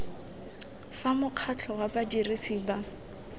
fa mokgatlho wa badirisi ba